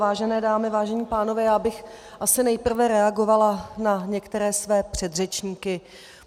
Vážené dámy, vážení pánové, já bych asi nejprve reagovala na některé své předřečníky.